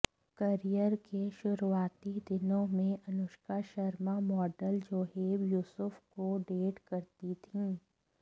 career के शुरुआती दिनों में अनुष्का शर्मा मॉडल जोहेब युसुफ को डेट करती थीं